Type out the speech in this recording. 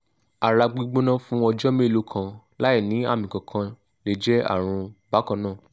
ara gbigbona fun ọjọ́ mélòó kan láìní àmì kankan le je àrùn bakanna